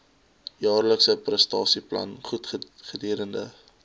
jaarlikse prestasieplan gedurende